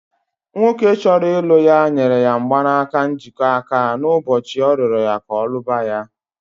Nwoke chọrọ ilụ ya nyere ya mgbanaka njikọ aka n'ụbọchị ọ rịoro ya ka ọ lụba